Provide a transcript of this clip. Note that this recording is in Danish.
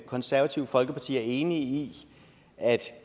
konservative folkeparti enig i at